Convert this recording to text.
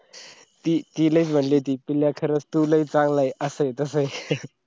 ती लगेच म्हणाली होती पिल्या खरंच तू लै चांगलंय असा तास